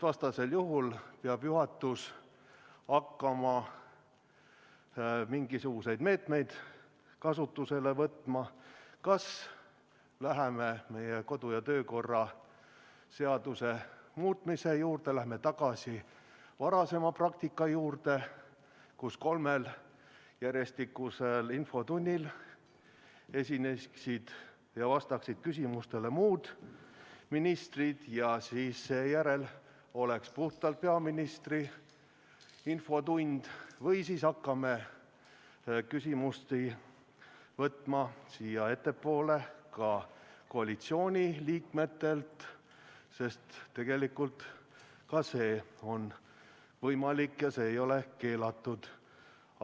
Vastasel juhul peab juhatus hakkama mingisuguseid meetmeid kasutusele võtma: kas läheme meie kodu- ja töökorra seaduse muutmise juurde, läheme tagasi varasema praktika juurde, nii et kolmel järjestikusel infotunnil vastaksid küsimustele muud ministrid ja seejärel oleks puhtalt peaministri infotund, või siis hakkame küsimusi vastu võtma ka koalitsiooniliikmetelt, sest tegelikult ka see on võimalik, see ei ole keelatud.